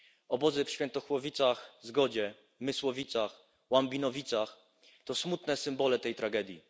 Obozy w Świętochłowicach Zgodzie, Mysłowicach, Łambinowicach to smutne symbole tej tragedii.